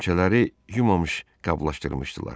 Nimçələri yumamış qablaşdırmışdılar.